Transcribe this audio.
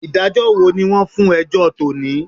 Ìdájọ́ wo ni wọ́n fún ẹjọ́ tò ní?